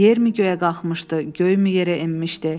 Yer mi göyə qalxmışdı, göy mü yerə enmişdi?